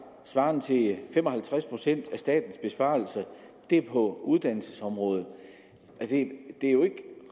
svarende til fem og halvtreds procent af statens besparelser er på uddannelsesområdet det er jo ikke